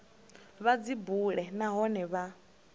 vha dzi bule nahone vha